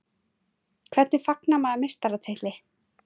Hvernig fagnar maður meistaratitli?